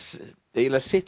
eiginlega sitt